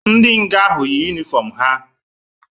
Ndi nga ahụ yị ụnifọm ha